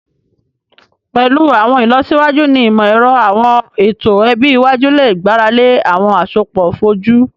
Pẹlu awọn ilọsiwaju ni imọ-ẹrọ, awọn eto ẹbi iwaju le gbarale awọn asopọ foju